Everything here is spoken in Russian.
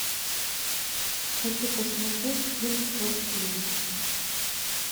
хочу посмотреть кин фор кей